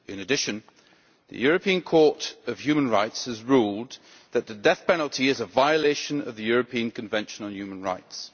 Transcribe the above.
In addition, the European Court of Human Rights has ruled that the death penalty is a violation of the European Convention on Human Rights.